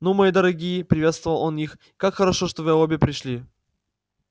ну мои дорогие приветствовал он их как хорошо что вы обе пришли